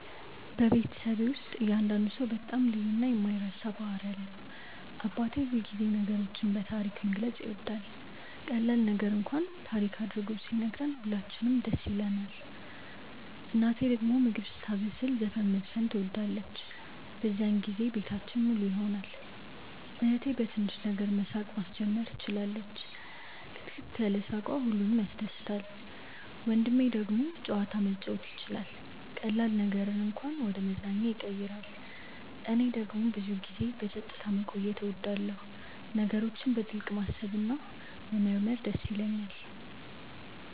በቤተሰቤ ውስጥ እያንዳንዱ ሰው በጣም ልዩ እና የማይረሳ ባህሪ አለው። አባቴ ሁልጊዜ ነገሮችን በታሪክ መግለጽ ይወዳል፤ ቀላል ነገር እንኳን ታሪክ አድርጎ ሲነግረን ሁላችንም ደስ ይለንናል። እናቴ ደግሞ ምግብ ስታበስል ዘፈን መዝፈን ትወዳለች፤ በዚያን ጊዜ ቤታችን ሙሉ ይሆናል። እህቴ በትንሽ ነገር ሳቅ ማስጀመር ትችላለች፣ ክትክት ያለ ሳቅዋ ሁሉንም ያስደስታል። ወንድሜ ደግሞ ጨዋታ መጫወት ይችላል፤ ቀላል ነገርን እንኳን ወደ መዝናኛ ያቀይራል። እኔ ደግሞ ብዙ ጊዜ በጸጥታ መቆየት እወዳለሁ፣ ነገሮችን በጥልቅ ማሰብ እና መመርመር ይደስ ይለኛል።